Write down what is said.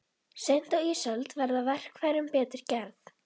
Seint á ísöld verða verkfærin betur gerð.